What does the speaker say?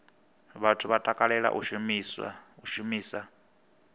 vhathu vha takalela u shumisa